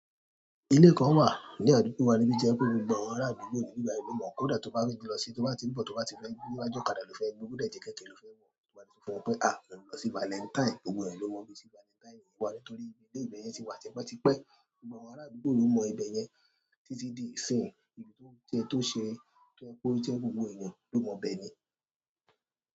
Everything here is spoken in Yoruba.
Ilé kan wà ní àdúgbò wa nibi jẹ pé gbogbo àwọn ará àdúgbò yìí ní ìgbà yìí ò mọ̀ kó dà tó bá fẹ́ gbé lọ sí, tó bá tí ìbò, tó bá tí fẹ́ gbé níwájú ọ̀kadà ló fẹ́ gbé, kódà tí jẹ́ kẹ̀kẹ́ ló fẹ́ wọ̀, tiwà ní kí wọ́n fún wọn pé a, lọ sí Valentine, gbogbo ẹ̀ ni ó mọ̀ bí i sí Valentine yìí wà nítorí ilé ìbẹ̀ yẹn ti wà tí wọ́n ti pẹ́, gbogbo àwọn ará àdúgbò yìí ó mọ ibẹ̀ yẹn títí di ìsìn, ibi tó ṣe tó ṣe pé gbogbo èèyàn gbó mọ ibẹ̀ ni.